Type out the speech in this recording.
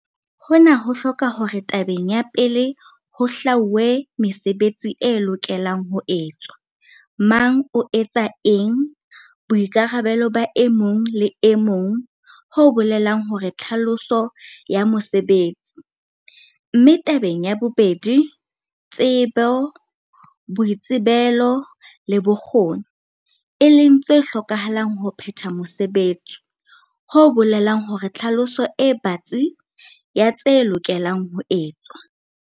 Hona ho hloka hore tabeng ya pele ho hlwauwe mesebetsi e lokelang ho etswa, mang o etsa eng, boikarabelo ba e mong le e mong ho bolelang hore tlhaloso ya mosebetsi, mme tabeng ya bobedi, tsebo, boitsebelo le bokgoni, e leng tse hlokahalang ho phetha mosebetsi. ho bolelang hore tlhaloso e batsi ya tse lokelang ho etswa.